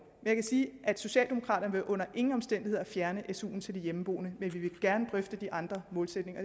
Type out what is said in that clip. jeg kan sige at socialdemokraterne under ingen omstændigheder vil fjerne su’en til de hjemmeboende men vi vil gerne drøfte de andre målsætninger